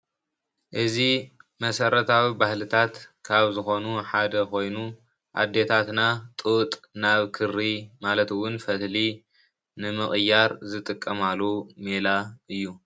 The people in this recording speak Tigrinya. እዚ መሰረታዊ ባህልታት ካብ ዝኾኑ ሓደ ኮይኑ ኣዴታትና ጡጥ ናብ ክሪ ማለት እውን ፈትሊ ንምቕያር ዝጥቀማሉ ሜላ እዩ።